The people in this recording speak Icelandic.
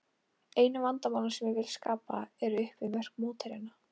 Einu vandamálin sem ég vil skapa eru upp við mörk mótherjanna.